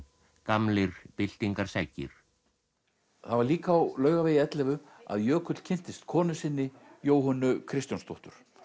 gamlir byltingarseggir það var líka á Laugavegi ellefu að Jökull kynntist konu sinni Jóhönnu Kristjónsdóttur